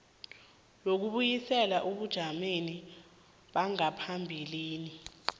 yokubuyisela ebujameni bangaphambilini